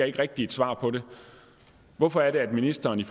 ikke rigtig et svar hvorfor er det at ministeren i